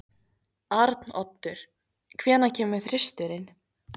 Arnoddur, hvenær kemur þristurinn?